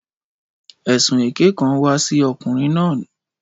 Ẹ̀sùn èké kan wà sí ọkùnrin náà.